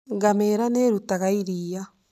Ngamia nĩ ĩrutaga iria.